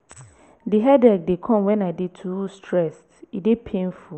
di headache dey come wen i dey too stressed e dey painful.